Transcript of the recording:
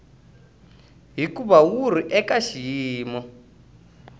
hikuva wu ri eka xiyimo